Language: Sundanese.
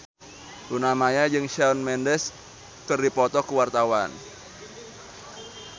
Luna Maya jeung Shawn Mendes keur dipoto ku wartawan